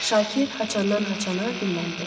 Şakir haçandan-haçana dilləndi.